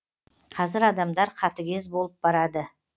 қазір адамдар қатыгез болып барады